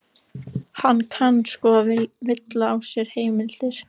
Hann kann sko að villa á sér heimildir.